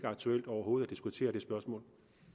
aktuelt overhovedet at diskutere det spørgsmål